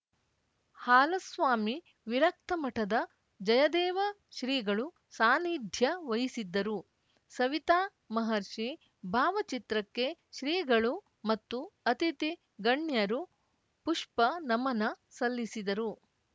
ಹಾಲಸ್ವಾಮಿ ವಿರಕ್ತ ಮಠದ ಜಯದೇವ ಶ್ರೀಗಳು ಸಾನಿಧ್ಯ ವಹಿಸಿದ್ದರು ಸವಿತಾ ಮಹರ್ಷಿ ಭಾವಚಿತ್ರಕ್ಕೆ ಶ್ರೀಗಳು ಮತ್ತು ಅತಿಥಿ ಗಣ್ಯರು ಪುಪ್ಪನಮನ ಸಲ್ಲಿಸಿದರು